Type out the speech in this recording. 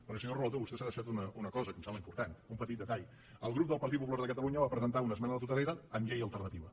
perquè senyor relator vostè s’ha deixat una cosa que em sembla important un petit detall el grup del partit popular de catalunya va presentar una esmena a la totalitat amb llei alternativa